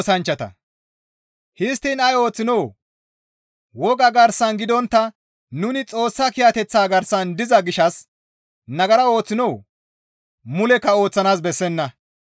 Histtiin ay ooththinoo? Woga garsan gidontta nuni Xoossa kiyateththa garsan diza gishshas nagara ooththinoo? Mulekka ooththanaas bessenna.